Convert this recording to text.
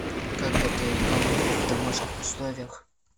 как готовить гамбургер в домашних условиях